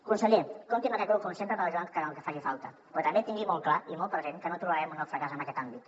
conseller compti amb aquest grup com sempre per ajudar en el que faci falta però també tingui molt clar i molt present que no tolerarem un nou fracàs en aquest àmbit